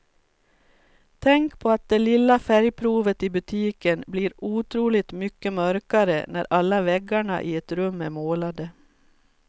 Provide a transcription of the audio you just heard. Tänk på att det lilla färgprovet i butiken blir otroligt mycket mörkare när alla väggarna i ett rum är målade.